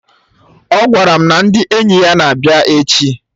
Ọ gwara m na ndị enyi ya na-abịa echi